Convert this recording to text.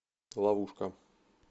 ловушка